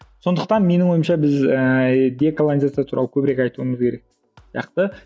сондықтан менің ойымша біз ііі деколонизация туралы көбірек айтуымыз керек сияқты